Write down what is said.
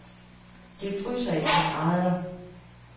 Det fryser et par grader.